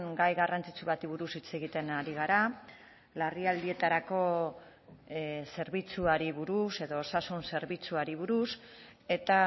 gai garrantzitsu bati buruz hitz egiten ari gara larrialdietarako zerbitzuari buruz edo osasun zerbitzuari buruz eta